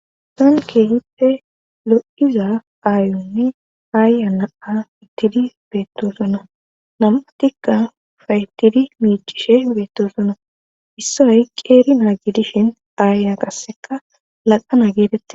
Sonkehippe lo'iza aayunni aayya naa ittidi beettosona namatikka faytidi miicishe beetto sona issay qeeri naa gidishin aaya qasseka laqana geedette.